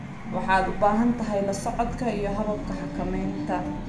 Waxaad u baahan tahay la socodka iyo hababka xakamaynta.